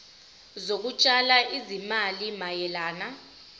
zokutshala izimali mayelana